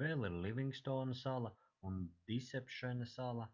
vēl ir livingstona sala un disepšena sala